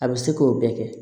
A bɛ se k'o bɛɛ kɛ